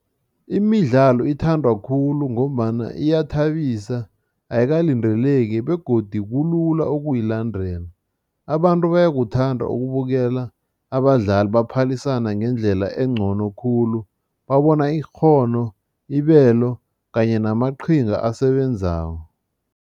Imidlalo ithandwa khulu ngombana iyathabisa, ayikalindeleki begodi kulula ukuyilandela. Abantu bayakuthanda ukubukela abadlali, baphalisane ngendlela engcono khulu, babona ikghono, ibelo kanye namaqhinga asebenzako.